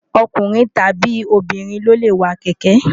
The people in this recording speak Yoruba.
ọkùnrin tàbí obìnrin ló lè wa kẹ̀kẹ́